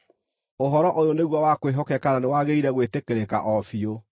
Ũhoro ũyũ nĩguo wa kwĩhokeka na nĩwagĩrĩire gwĩtĩkĩrĩka o biũ